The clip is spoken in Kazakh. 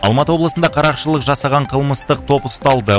алматы облысында қарақшылық жасаған қылмыстық топ ұсталды